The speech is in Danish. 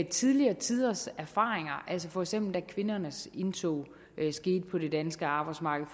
tidligere tiders erfaringer altså da for eksempel kvindernes indtog på det danske arbejdsmarked